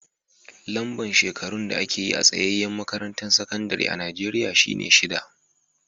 Lamba shekarun da ake yi a tsayaye makarantan sakandare a'Nijeriya shine shida.